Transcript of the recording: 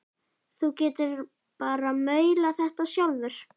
Þú getur bara maulað þetta sjálfur!